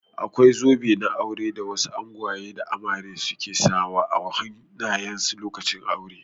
Akwai zobe na aure da wasu angwaye da amare su ke sa wa a hannaye lokacin aure.